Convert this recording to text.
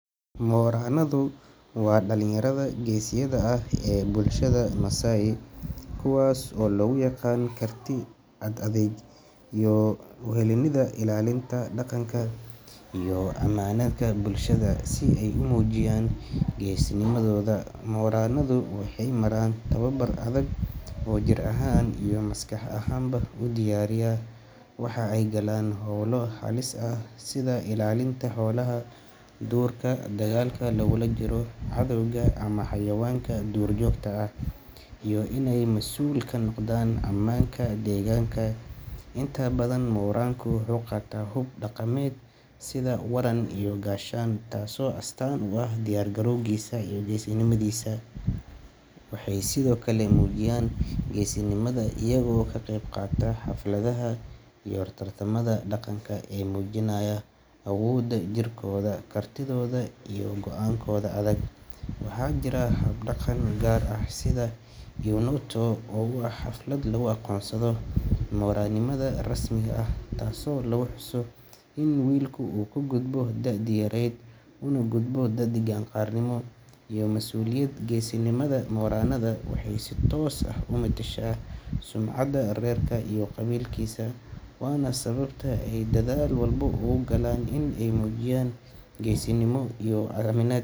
Moranadu waa dhalinyarada geesiyada ah ee bulshada Masai, kuwaas oo lagu yaqaan karti, ad-adayg iyo u heellanida ilaalinta dhaqanka iyo ammaanka bulshada. Si ay u muujiyaan geesinimadooda, moranadu waxay maraan tababar adag oo jir ahaan iyo maskax ahaanba u diyaariya. Waxa ay galaan hawlo halis ah sida ilaalinta xoolaha duurka, dagaalka lagula jiro cadowga ama xayawaanka duurjoogta ah, iyo inay mas'uul ka noqdaan ammaanka deegaanka. Inta badan, moranku wuxuu qaataa hub dhaqameed sida waran iyo gaashaan, taasoo astaan u ah diyaar garowgiisa iyo geesinimadiisa. Waxay sidoo kale muujiyaan geesinimada iyagoo ka qaybqaata xafladaha iyo tartamada dhaqanka ee muujinaya awoodda jirkooda, kartidooda iyo go'aankooda adag. Waxaa jira hab-dhaqan gaar ah sida Eunoto oo ah xaflad lagu aqoonsado moranimada rasmiga ah, taasoo lagu xuso in wiilka uu ka gudbay da'dii yarayd una gudbay qaan-gaarnimo iyo masuuliyad. Geesinimada moranada waxay si toos ah u metesha sumcadda reerka iyo qabiilka, waana sababta ay dadaal walba ugu galaan in ay muujiyaan geesinimo iyo is aaminaad.